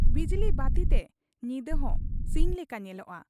ᱵᱤᱡᱽᱞᱤᱵᱟᱹᱛᱤ ᱛᱮ ᱧᱤᱫᱟᱹ ᱦᱚᱸ ᱥᱤᱧ ᱞᱮᱠᱟ ᱧᱮᱞᱚᱜ ᱟ ᱾